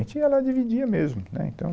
A gente ia lá e dividia mesmo, né, então